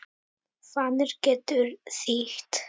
Fanir getur þýtt